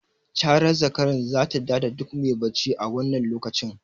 Carar zakaran zata ta da duk me bacci a wannan lokacin.